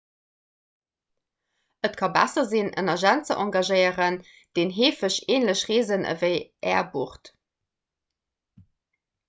et ka besser sinn en agent ze engagéieren deen heefeg änlech reesen ewéi är bucht